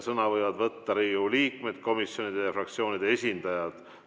Sõna võivad võtta Riigikogu liikmed, komisjonide ja fraktsioonide esindajad.